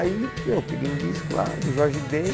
Aí eu peguei um disco lá do Jorge Ben.